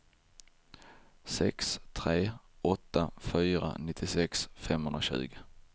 sex tre åtta fyra nittiosex femhundratjugo